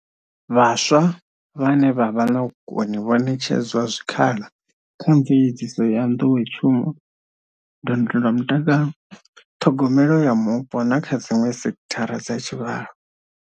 Vhaswa vhane vha vha na vhukoni vho ṋetshedzwa zwikhala kha mveledziso ya nḓowetshumo, ndondola mutakalo, ṱhogomelo ya mupo na kha dziṅwe sekhithara dza tshivhalo.